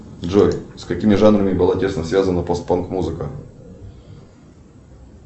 джой с какими жанрами была тесно связана пост панк музыка